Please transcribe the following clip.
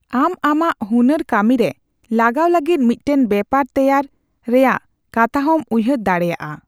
ᱟᱢ ᱟᱢᱟᱜ ᱦᱩᱱᱟᱹᱨ ᱠᱟᱹᱢᱤᱨᱮ ᱞᱟᱜᱟᱣ ᱞᱟᱹᱜᱤᱫ ᱢᱤᱫᱴᱟᱝ ᱵᱮᱯᱟᱨ ᱛᱮᱭᱟᱨ ᱨᱮᱭᱟᱜ ᱠᱟᱛᱷᱟᱦᱚᱸᱢ ᱩᱭᱦᱟᱹᱨ ᱫᱟᱲᱮᱭᱟᱜᱼᱟ ᱾